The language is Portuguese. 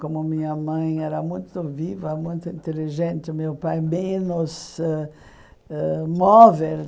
Como minha mãe era muito viva, muito inteligente, meu pai menos ãh ãh móvel.